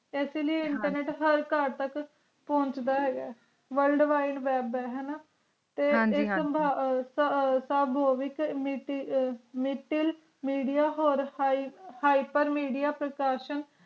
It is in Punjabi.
ਐਸ ਲਾਇ ਹਨ ਜੀ internet ਹਰ ਘਰ ਤਕ ਪੋਂਛਡਾ ਹੈਗਾ worldwide web ਹੈ ਨਾ ਹਨ ਜੀ ਤੇ ਇਕ ਕਿਸਮ ਸਬ ਮਿਤਲ metalmedia ਹੋਰ ਹਾਏ ਹੈਪਰ huppermedia ਪ੍ਰਸਾਸ਼ੀਓਂ